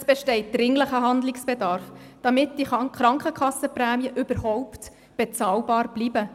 Es besteht dringlicher Handlungsbedarf, damit die Krankenkassenprämien überhaupt bezahlbar bleiben.